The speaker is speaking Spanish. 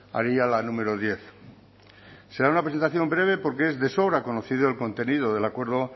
haría la número diez será una presentación breve porque es de sobra conocido el contenido del acuerdo